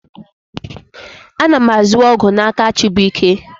A na m azụ ọgwụ n'aka Chibuike.